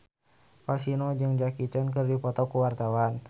Kasino jeung Jackie Chan keur dipoto ku wartawan